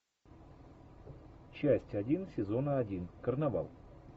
часть один сезона один карнавал